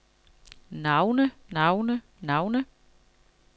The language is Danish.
navne navne navne